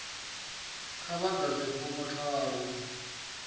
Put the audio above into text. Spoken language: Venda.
kha vha ḓadze fomo tharu